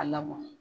A labɔ